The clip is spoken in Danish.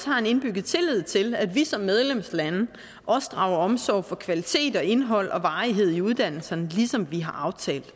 har en indbygget tillid til at vi som medlemslande drager omsorg for kvalitet og indhold og varighed i uddannelserne ligesom vi har aftalt